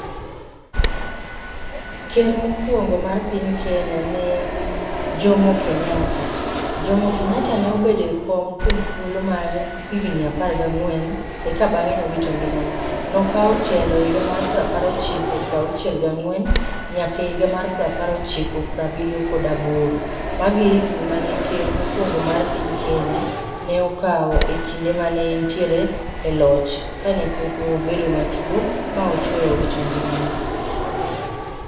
Ker mokwongo mar piny Kenya ne en, Jomo Kenyatta. Jomo Kenyatta ne obede e kom kuom thuolo mar higni apar gang'wen, eka bang'e nowito ngimane. Nokawo telo e higa mar prapar ochiko prauchiel gang'wen, nyaka e higa mar prapar ochiko prabiriyo kod aboro. Mage e higni ma ker mokwongo mar piny Kenya, ne okawo e kinde mane entiere, e loch. Kane pok obedo matuo ma ochweyo owito ngimane